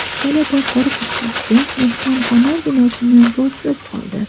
Italiyada qor ko‘chkisi mehmonxona binosini bosib qoldi.